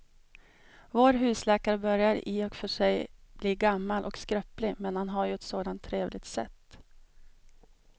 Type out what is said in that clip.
Vår husläkare börjar i och för sig bli gammal och skröplig, men han har ju ett sådant trevligt sätt!